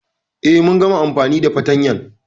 E, mun gama amfani da fatanyan.